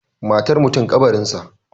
Matar mutum, ƙabarinsa